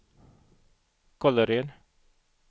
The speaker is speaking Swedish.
Kållered